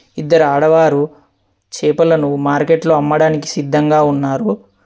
ఇద్దరు ఆడవారు చేపలను మార్కెట్లో అమ్మడానికి సిద్ధంగా ఉన్నారు.